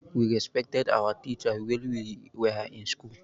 We respected our teachers while we were in school